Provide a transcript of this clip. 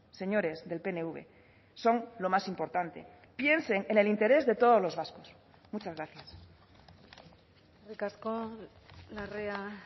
señores del pnv son lo más importante piensen en el interés de todos los vascos muchas gracias eskerrik asko larrea